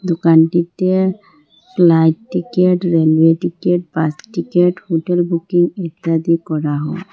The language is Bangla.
দোকানটিতে flight ticket railway ticket bus ticket hotel booking ইত্যাদি করা হয়।